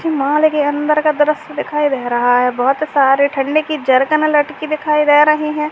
मुझे मॉल के अंदर का दृश्य दिखाई दे रहा है। बहुत सारे ठंडे की जरकन लटकी दिखाई दे रहीं हैं।